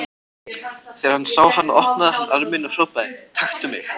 Þegar hann sá hana opnaði hann arminn og hrópaði: Taktu mig!